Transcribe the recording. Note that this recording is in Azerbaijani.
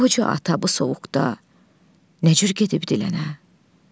Qoca ata bu soyuqda nə cür gedib dilənə?